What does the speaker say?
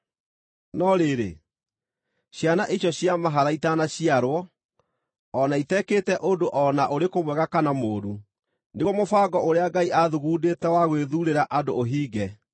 No rĩrĩ, ciana icio cia mahatha itanaciarwo, o na itekĩte ũndũ o na ũrĩkũ mwega kana mũũru, nĩguo mũbango ũrĩa Ngai aathugundĩte wa gwĩthuurĩra andũ ũhinge: